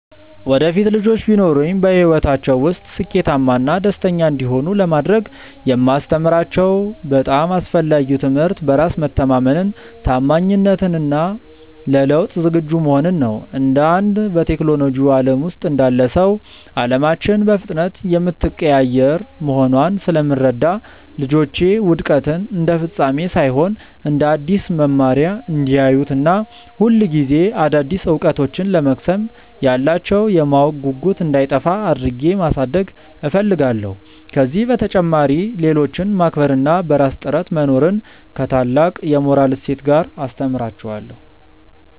ወደፊት ልጆች ቢኖሩኝ፣ በሕይወታቸው ውስጥ ስኬታማና ደስተኛ እንዲሆኑ ለማድረግ የማስተምራቸው በጣም አስፈላጊው ትምህርት በራስ መተማመንን፣ ታማኝነትን እና ለለውጥ ዝግጁ መሆንን ነው። እንደ አንድ በቴክኖሎጂው ዓለም ውስጥ እንዳለ ሰው፣ ዓለማችን በፍጥነት የምትቀያየር መሆኗን ስለምረዳ፣ ልጆቼ ውድቀትን እንደ ፍጻሜ ሳይሆን እንደ አዲስ መማሪያ እንዲያዩት እና ሁልጊዜ አዳዲስ እውቀቶችን ለመቅሰም ያላቸው የማወቅ ጉጉት እንዳይጠፋ አድርጌ ማሳደግ እፈልጋለሁ። ከዚህ በተጨማሪ፣ ሌሎችን ማክበር እና በራስ ጥረት መኖርን ከታላቅ የሞራል እሴት ጋር አስተምራቸዋለሁ።